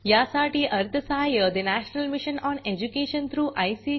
यासाठी national mission on education through I